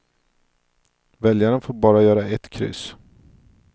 Väljaren får bara göra ett kryss.